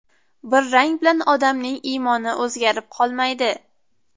Bir rang bilan odamning iymoni o‘zgarib qolmaydi.